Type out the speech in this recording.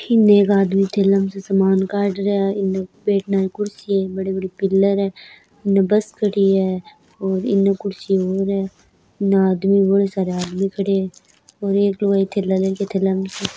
इन्न एक आदमी थैला म स समान काड रहया है इन्न बैठना की कुर्सियाँ है बड़ी बड़ी पिलर है इन्न बस खड़ी है और इन्न कुर्सी और है इन्न आदमी बोलै सारा आदमी खड़िया है और एक लुगाई थैला ले रखी है थैला --